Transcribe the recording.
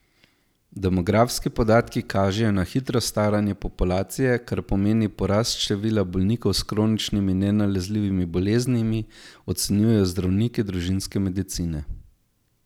Demografski podatki kažejo na hitro staranje populacije, kar pomeni porast števila bolnikov s kroničnimi nenalezljivimi boleznimi, ocenjujejo zdravniki družinske medicine.